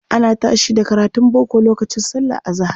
Ana tashi da karatun boko lokacin sallar azahar.